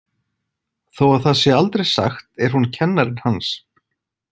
Þó að það sé aldrei sagt er hún kennarinn hans.